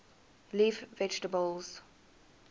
leaf vegetables